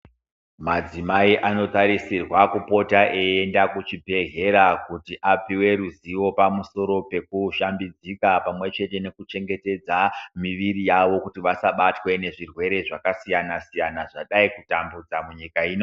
Madzimai anotarisirwa kupota eienda kuchibhedhlera kuti apiwe ruzivo pamusoro pekushambidzika pamwe chete nekuchengetedza miviri yavo kuti vasabatwe nezvirwere zvakasiyana-siyana, zvadai kutambudza nyika ino.